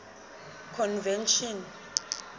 convention